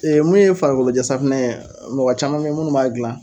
mun ye farikolojɛsafunɛ ye, mɔgɔ caman be ye munnu b'a gilan.